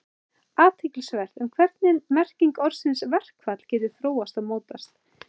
Athyglisvert er hvernig merking orðsins verkfall hefur þróast og mótast.